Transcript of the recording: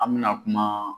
An mɛna kuma